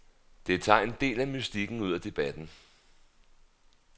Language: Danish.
Det tager en del af mystikken ud af debatten.